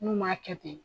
N'u m'a kɛ ten